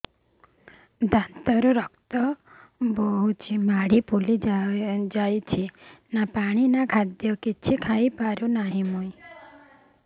ଦାନ୍ତ ରୁ ରକ୍ତ ଗଳୁଛି ମାଢି ଫୁଲି ଯାଉଛି ନା ପାଣି ନା ଖାଦ୍ୟ କିଛି ଖାଇ ପିଇ ହେଉନି